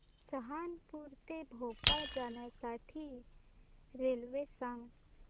सहारनपुर ते भोपाळ जाण्यासाठी रेल्वे सांग